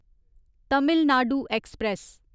Tamil Nadu express